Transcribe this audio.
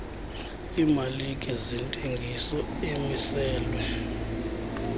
emalike zentengiso amiselwe